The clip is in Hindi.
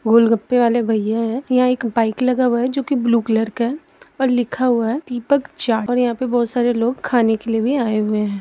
गोलगपे वाले भइया है यहाँ एक बाइक लगा हुआ है जो कि ब्लू कलर का है और लिखा हुआ है दीपक चाट और यहाॅं पे बहुत सारे लोग खाने के लिए भी आये हुए है।